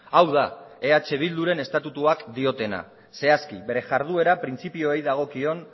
hau da eh bilduren estatutuak diotena zehazki bere jarduera printzipioei dagokion